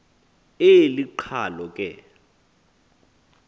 eli qhalo ke